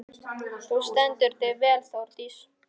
Þú stendur þig vel, Þórdís!